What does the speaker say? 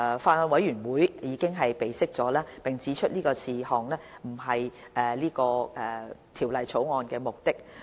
法案委員會已備悉並指出這事項不是是次《條例草案》的目的。